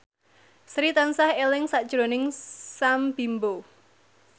Sri tansah eling sakjroning Sam Bimbo